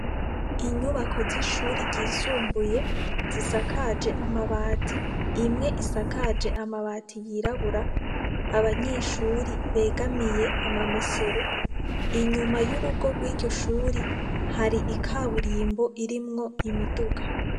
Inyubako z'ishuri ryisumbuye zisakaje amabati imwe isakaje amabati yirabura, abanyeshuri begamiye amamesero, inyuma y'urugo rw'iryo shuri hari ikaburimbo irimwo imiduga.